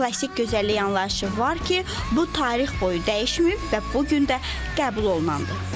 Amma klassik gözəllik anlayışı var ki, bu tarix boyu dəyişməyib və bu gün də qəbul olunandır.